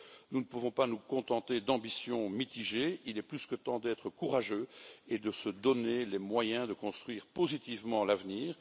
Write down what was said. Nous ne pouvons pas nous contenter d'ambitions mitigées, il est plus que temps d'être courageux et de se donner les moyens de construire positivement l'avenir.